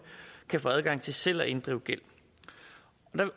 kan få adgang til selv at inddrive gæld